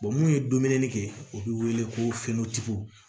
munnu ye dumuni kɛ u bi wele ko fɛnnɔgɔtigiw